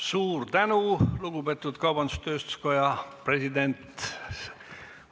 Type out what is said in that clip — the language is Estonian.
Suur tänu, lugupeetud kaubandus-tööstuskoja juhatuse esimees!